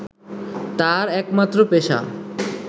তাঁর একমাত্র পেশা